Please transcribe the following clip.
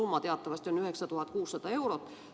Summa teatavasti on 9600 eurot.